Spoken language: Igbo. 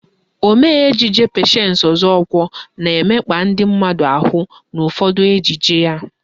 Omee ejije Patience Ọzọkwọ na-emekpa ndị mmadụ ahụ n'ụfọdụ ejije ya.